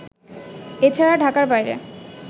এ ছাড়া ঢাকার বাইরে